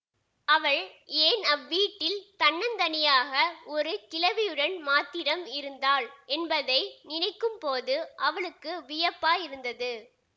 அவள் ஏன் அவ்வீட்டில் தன்னந்தனியாக ஒரு கிழவியுடன் மாத்திரம் இருந்தாள் என்பதை நினைக்கும் போது அவனுக்கு வியப்பாயிருந்தது